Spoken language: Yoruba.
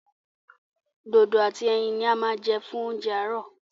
Dodo àti ẹyin ní a ma jẹ fún oúnjẹ àárọ̀.